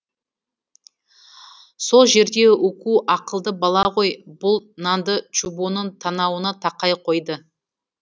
сол жерде уку ақылды бала ғой бұл нанды чубоның танауына тақай қойды